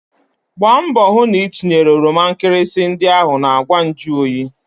Gbaa mbọ hụ na itinyere oroma nkịrịsị ndị ahụ na ngwa nju oyi!